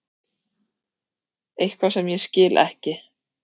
Eitthvað sem ég skil ekki.